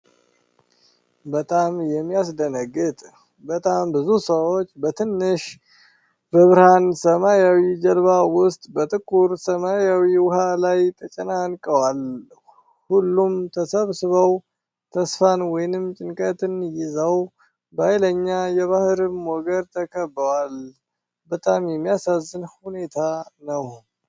በጣም የሚያስደነግጥ! በጣም ብዙ ሰዎች በትንሽ፣ በብርሃን ሰማያዊ ጀልባ ውስጥ በጥቁር ሰማያዊ ውሃ ላይ ተጨናንቀዋል። ሁሉም ተሰብስበው፣ ተስፋን ወይም ጭንቀትን ይዘው፣ በኃይለኛ የባህር ሞገድ ተከበዋል። በጣም የሚያሳዝን ሁኔታ ነው!